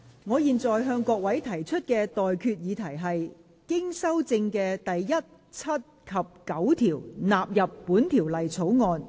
我現在向各位提出的待決議題是：經修正的第1、7及9條納入本條例草案。